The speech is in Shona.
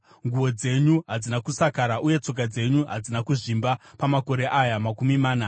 Nguo dzenyu hadzina kusakara uye tsoka dzenyu hadzina kuzvimba pamakore aya makumi mana.